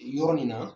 Yɔrɔ nin na